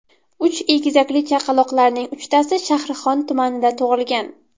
Uch egizakli chaqaloqlarning uchtasi Shahrixon tumanida tug‘ilgan.